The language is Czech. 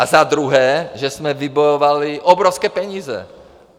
A za druhé, že jsme vybojovali obrovské peníze.